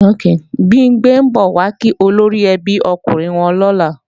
Bimpé ń bọ̀ wá kí olóríẹbí okùnrin wọn lọ́la